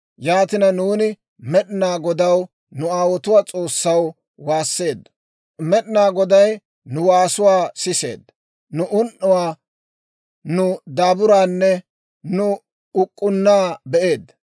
Yaatina, nuuni Med'inaa Godaw, nu aawotuwaa S'oossaw, waasseeddo. Med'inaa Goday nu waasuwaa siseedda; nu un"uwaa, nu daaburaanne nu uk'k'unnaa be'eedda.